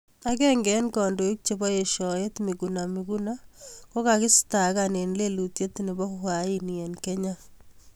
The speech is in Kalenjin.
Agenge eng kandoik chebo eshaet Miguna Miguna kokistakan eng lelutiet nebo uhaini eng Kenya.